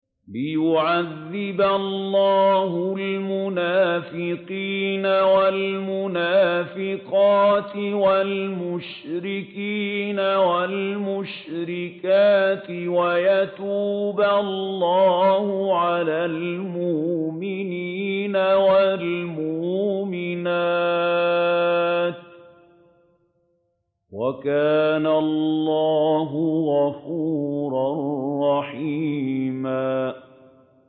لِّيُعَذِّبَ اللَّهُ الْمُنَافِقِينَ وَالْمُنَافِقَاتِ وَالْمُشْرِكِينَ وَالْمُشْرِكَاتِ وَيَتُوبَ اللَّهُ عَلَى الْمُؤْمِنِينَ وَالْمُؤْمِنَاتِ ۗ وَكَانَ اللَّهُ غَفُورًا رَّحِيمًا